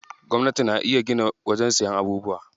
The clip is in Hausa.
Gwamnati na iya gina wajen siyan abubuwa.